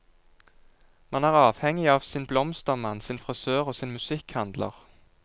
Man er avhengig av sin blomstermann, sin frisør og sin musikkhandler.